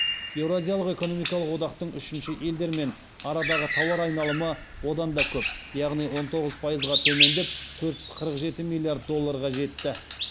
еуразиялық экономикалық одақтың үшінші елдермен арадағы тауар айналымы одан да көп яғни он тоғыз пайызға төмендеп төрт жүз қырық жеті миллиард долларға жетті